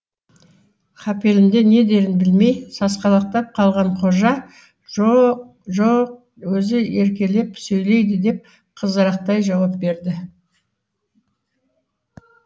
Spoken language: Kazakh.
қапелімде не дерін білмей сасқалақтап қалған қожа жо жоқ өзі еркелеп сөйлейді деп қызарақтай жауап берді